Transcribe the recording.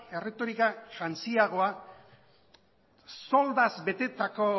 erretorika jantziagoa zoldaz betetako